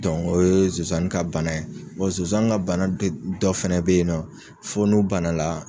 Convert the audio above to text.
o ye sonsani ka bana ye. sonsan ka bana de dɔ fɛnɛ bɛ yen nɔ fo n'u bana la.